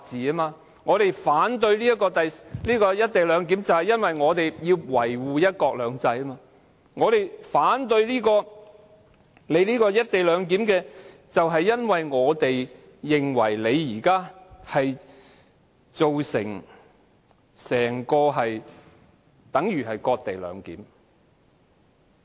我們之所以反對"一地兩檢"安排，是為要維護"一國兩制"；我們反對"一地兩檢"，是因為我們認為現時的做法，等同"割地兩檢"。